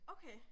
Okay